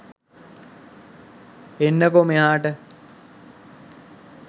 එන්නකො මෙහාට